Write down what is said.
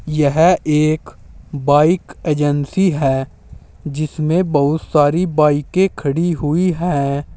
यह एक bike agency है जिसमें बहुत सारी बाइकें खड़ी हुई है।